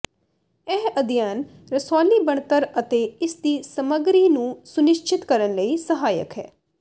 ਇਹ ਅਧਿਐਨ ਰਸੌਲੀ ਬਣਤਰ ਅਤੇ ਇਸ ਦੀ ਸਮੱਗਰੀ ਨੂੰ ਸੁਨਿਸ਼ਚਿਤ ਕਰਨ ਲਈ ਸਹਾਇਕ ਹੈ